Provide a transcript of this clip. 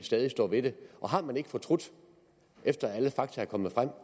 stadig står ved det har man ikke fortrudt efter at alle fakta er kommet frem